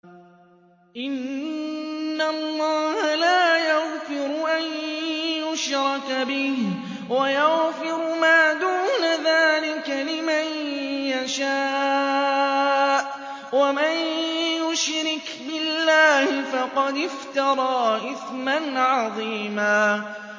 إِنَّ اللَّهَ لَا يَغْفِرُ أَن يُشْرَكَ بِهِ وَيَغْفِرُ مَا دُونَ ذَٰلِكَ لِمَن يَشَاءُ ۚ وَمَن يُشْرِكْ بِاللَّهِ فَقَدِ افْتَرَىٰ إِثْمًا عَظِيمًا